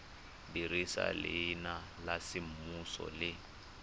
dirisa leina la semmuso le